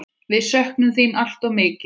Við söknum þín alltof mikið.